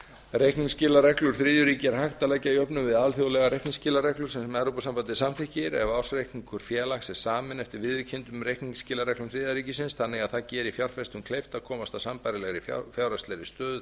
reikniskilareglur þriðju ríkja er hægt að leggja að jöfnuði við alþjóðlegar reikniskilareglur sem evrópusambandið samþykkir ef ársreikningur félags er saminn eftir viðurkenndum reikningsskilareglum þriðja ríkisins þannig að það geri fjárfestum kleift að komast að sambærilegri fjárhagslegri stöðu